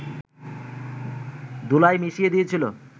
ধুলায় মিশিয়ে দিয়েছিল